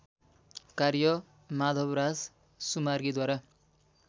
कार्य माधवराज सुमार्गीद्वारा